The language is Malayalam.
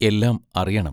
എല്ലാം അറിയണം.